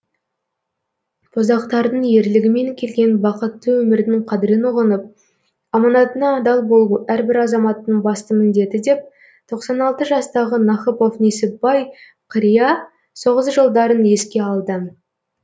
боздақтардың ерлігімен келген бақытты өмірдің қадірін ұғынып аманатына адал болу әрбір азаматтың басты міндеті деп тоқсан алты жастағы нахыпов несіпбай қария соғыс жылдарын еске алды